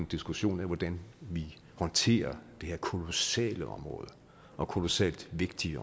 diskussion af hvordan vi håndterer det her kolossale område og kolossalt vigtige